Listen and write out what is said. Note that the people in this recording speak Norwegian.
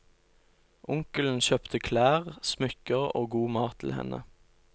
Onkelen kjøpte klær, smykker og god mat til henne.